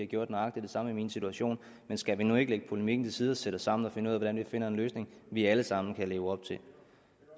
gjort nøjagtig det samme i min situation men skal vi nu ikke lægge polemikken til side og sætte os sammen og finde ud af hvordan vi finder en løsning vi alle sammen kan leve op til